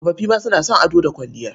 Tsofoffi ma suna son ado da kwalliya.